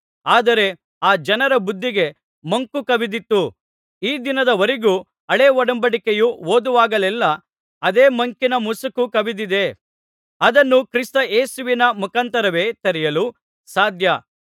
ಆದರೆ ಆ ಜನರ ಬುದ್ಧಿಗೆ ಮಂಕು ಕವಿದಿತ್ತು ಈ ದಿನದವರೆಗೂ ಹಳೇ ಒಡಂಬಡಿಕೆಯು ಓದುವಾಗೆಲ್ಲಾ ಅದೇ ಮಂಕಿನ ಮುಸುಕು ಕವಿದಿದೆ ಅದನ್ನು ಕ್ರಿಸ್ತ ಯೇಸುವಿನ ಮುಖಾಂತರವೇ ತೆರೆಯಲು ಸಾಧ್ಯ